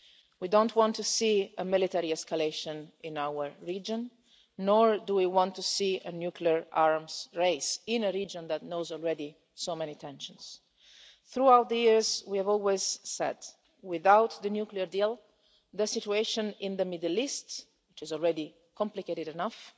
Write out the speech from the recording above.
We don't want to see a military escalation in our region, nor do we want to see a nuclear arms race in a region that knows already so many tensions. Throughout the years we have always said that without the nuclear deal the situation in the Middle East, which is already complicated enough,